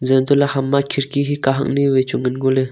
zeh an toley ham ma khidki hi kahak ni vai chu ngan ngoley.